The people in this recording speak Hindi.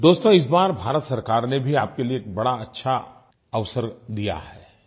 दोस्तो इस बार भारत सरकार ने भी आपके लिये बड़ा अच्छा अवसर दिया है